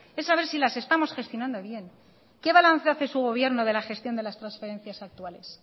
es saber si las estamos gestionando bien qué balance hace su gobierno de la gestión de las transferencias actuales